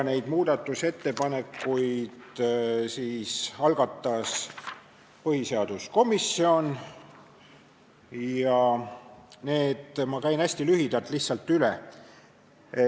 Need muudatusettepanekud algatas põhiseaduskomisjon ja need ma käin hästi lühidalt lihtsalt üle.